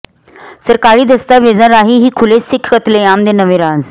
ਸਰਕਾਰੀ ਦਸਤਾਵੇਜ਼ਾਂ ਰਾਹੀਂ ਹੀ ਖੁੱਲ੍ਹੇ ਸਿੱਖ ਕਤਲੇਆਮ ਦੇ ਨਵੇਂ ਰਾਜ਼